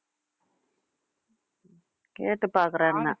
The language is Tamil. கேட்டுப் பாக்குறேன் என்ன